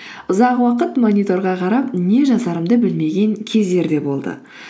ұзақ уақыт мониторға қарап не жазарымды білмеген кездер де болды